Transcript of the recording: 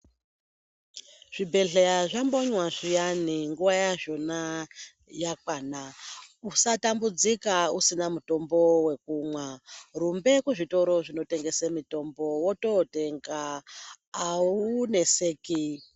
Zvibhedhleya zvambonywa zviyani nguva yazvona yakwana usatambudzika usina mutombo vokumwa. Rumbe kuzvitoro zvinotengese mitombo vototenga hauneseki.